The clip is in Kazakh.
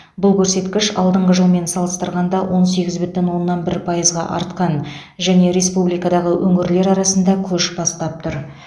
бұл көрсеткіш алдыңғы жылмен салыстырғанда он сегіз бүтін оннан бір пайызға артқан және республикадағы өңірлер арасында көш бастап тұр